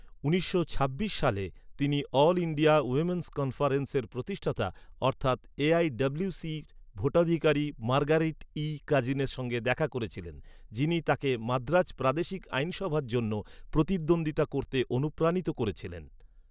উনিশশো ছাব্বিশ সালে, তিনি all India women's conference, AIWC এর প্রতিষ্ঠাতা ভোটাধিকারী মার্গারেট ই. কাজিনের সাথে দেখা করেছিলেন, যিনি তাকে মাদ্রাজ প্রাদেশিক আইনসভার জন্য প্রতিদ্বন্দ্বিতা করতে অনুপ্রাণিত করেছিলেন।